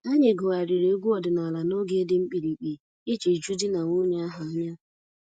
Anyị gụgharịrị egwu ọdịnala n'oge dị mkpirikpi iji ju di na nwunye ahụ anya